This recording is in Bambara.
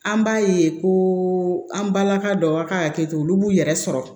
An b'a ye ko an balaka dɔw a ka hakɛto olu b'u yɛrɛ sɔrɔ